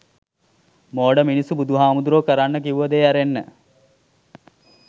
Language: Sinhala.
මෝඩ මිනිස්සු බුදුහාමුදුරුවෝ කරන්න කිව්ව දේ ඇරෙන්න